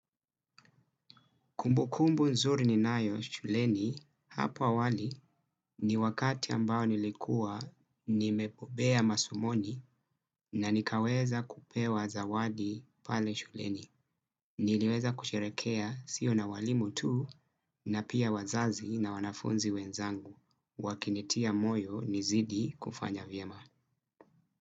Kumbukumbu nzuri ninayo shuleni hapo awali ni wakati ambao nilikuwa nimepobea masomoni na nikaweza kupewa zawadi pale shuleni. Niliweza kusherekea sio na walimu tu na pia wazazi na wanafunzi wenzangu wakinitia moyo nizidi kufanya vyema.